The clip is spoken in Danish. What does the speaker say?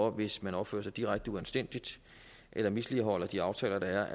at hvis man opfører sig direkte uanstændigt eller misligholder de aftaler der er